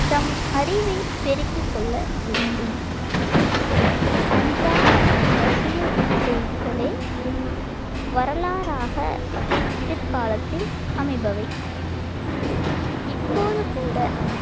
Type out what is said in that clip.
தம் அறிவைப் பெருக்கிக் கொள்ள வேண்டும் அன்றாட அரசியல் செய்திகளே வரலாறாகப் பிற்காலத்தில் அமைபவை இப்போது கூட